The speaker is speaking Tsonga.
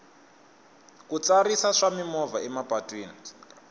ku tsarisa swa mimovha emapatwini